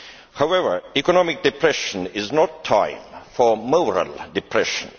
However, economic depression is not a time for moral depression.